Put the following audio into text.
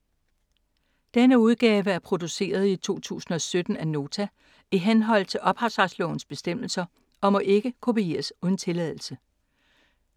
Denne udgave er produceret i 2017 af Nota i henhold til ophavsretslovens bestemmelser og må ikke kopieres uden tilladelse.